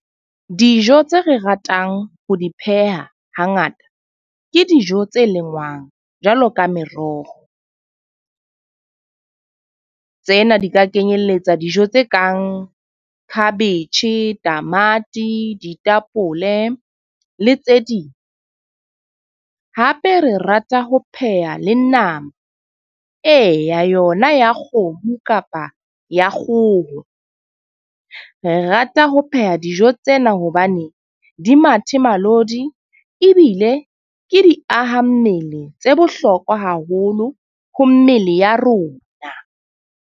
Dijo tse re ratang ho di pheha hangata. Ke dijo tse lengwang jwalo ka meroho. Tsena di ka kenyelletsa dijo tse kang khabetjhe, tamati, ditapole le tse ding. Hape re rata ho pheha le nama. Eya yona ya kgomo kapa ya kgoho. Re rata ho pheha dijo tsena hobane di mathemalodi ebile ke di aha mmele tse bohlokwa haholo ho mmele ya rona.